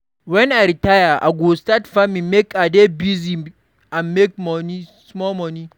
Wen I retire, I go start farming make I dey busy and make small money.